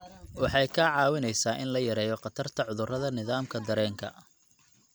Waxay kaa caawinaysaa in la yareeyo khatarta cudurrada nidaamka dareenka.